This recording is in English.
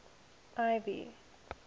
ivy